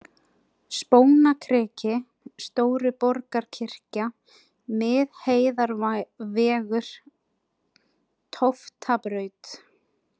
Spónakriki, Stóruborgarkirkja, Miðheiðarvegur, Tóftabraut